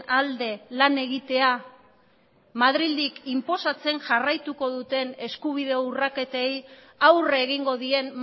alde lan egitea madrildik inposatzen jarraituko duten eskubide urraketei aurre egingo dien